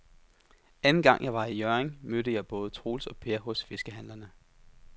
Anden gang jeg var i Hjørring, mødte jeg både Troels og Per hos fiskehandlerne.